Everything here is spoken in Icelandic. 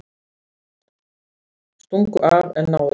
Stungu af en náðust